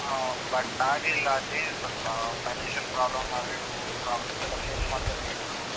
ಹ್ಮ್ but ಆಗ್ಲಿಲ್ಲಾ ಅಲ್ಲಿ ಸಲ್ಪ financial problem ಅವು ಇವು problems ಎಲ್ಲ face ಮಾಡ್ಬೇಕಿತ್ತು.